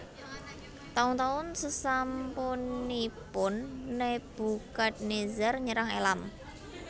Taun taun sesampunipun Nebukadnezar nyerang Elam